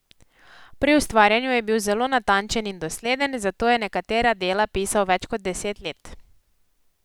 Pri ustvarjanju je bil zelo natančen in dosleden, zato je nekatera dela pisal več kot deset let.